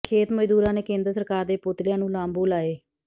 ਖੇਤ ਮਜ਼ਦੂਰਾਂ ਨੇ ਕੇਂਦਰ ਸਰਕਾਰ ਦੇ ਪੁਤਲਿਆਂ ਨੂੰ ਲਾਂਬੂ ਲਾਏ